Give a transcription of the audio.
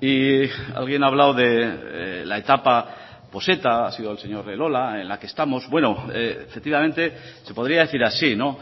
y alguien ha hablado de la etapa pues eta ha sido el señor elola en la que estamos bueno efectivamente se podría decir así no